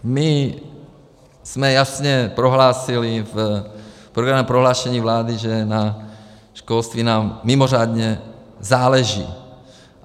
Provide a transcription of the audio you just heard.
My jsme jasně prohlásili v programovém prohlášení vlády, že na školství nám mimořádně záleží.